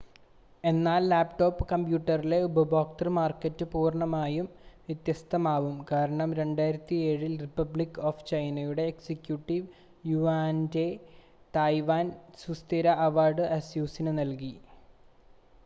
എന്നാൽ ലാപ്ടോപ്പ് കമ്പ്യൂട്ടറിലെ ഉപഭോക്തൃ മാർക്കറ്റ് പൂർണ്ണമായും വ്യത്യസ്തമാവും കാരണം 2007-ൽ റിപ്പബ്ലിക് ഓഫ് ചൈനയുടെ എക്സികുട്ടീവ് യുവാനിൻ്റെ തായ്‌വാൻ സുസ്ഥിര അവാർഡ് അസുസിന് നൽകി